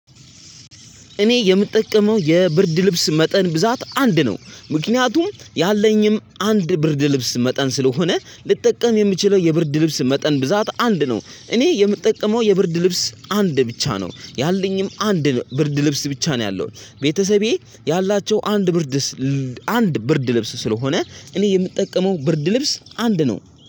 እኔ የምጠቀመው የብርድ ልብስ መጠን ብዛት አንድ ነው ምክንያቱም ያለኝም አንድ ብርድ ልብስ መጠን ስለሆነ ልጠቀም የምችለው የብርድ ልብስ መጠን ብዛት አንድ ነው። እኔ የምጠቀመው የብርድ ልብስ አንድ ብቻ ነው ያለኝም አንድ ብርድ ልብስ ብቻ ነው። ያለው ቤተሰቤ ያላቸው አንድ ብርድ አንድ ብርድ ልብስ ስለሆነ እኔ የምጠቀመው ብርድ ልብስ አንድ ነው።